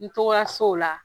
N tɔgɔla so la.